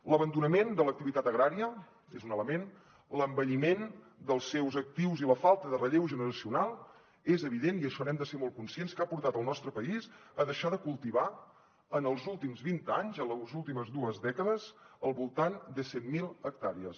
l’abandonament de l’activitat agrària és un element l’envelliment dels seus actius i la falta de relleu generacional és evident i això n’hem de ser molt conscients que ha portat el nostre país a deixar de cultivar en els últims vint anys en les últimes dues dècades al voltant de cent miler hectàrees